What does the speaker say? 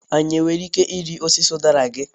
Anyị nwere ike ịrị osisi udara gị?